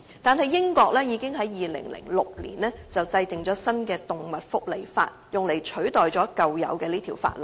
然而，英國已於2006年制定新的《動物福祉法令》，用以取代舊有的法例。